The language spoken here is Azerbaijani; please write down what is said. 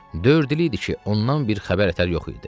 Dörd il idi ki, ondan bir xəbər ətər yox idi.